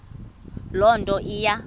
loo nto iya